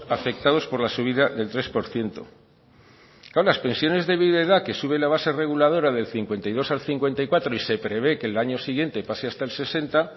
afectados por la subida del tres por ciento claro las pensiones de viudedad que sube la base reguladora del cincuenta y dos al cincuenta y cuatro y se prevé que el año siguiente pase hasta el sesenta